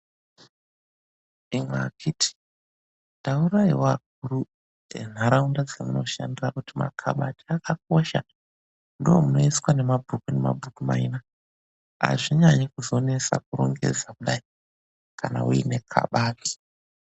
IMWI AKHITI TAURAIWO AKURU ENHARAUNDA DZAMUNOSHANDIRA KUTI MAKABATI AKAKOSHA NDOMUNOISWA MABHUKU ,NEMABHUKU MAINA AZVINYANYI KUZONESA KURONGEDZA KUDAIKANA UINE KABATI.